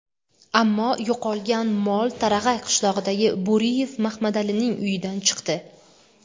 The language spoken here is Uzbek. Ammo yo‘qolgan mol Tarag‘ay qishlog‘idagi Bo‘riyev Mahmadalining uyidan chiqdi.